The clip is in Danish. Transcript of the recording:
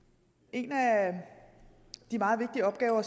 en af de meget vigtige opgaver